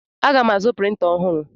Aga m azụ printa ọhụrụ.